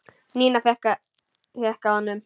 Nína hékk á honum.